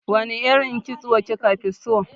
Wane irin kitso kika fi so?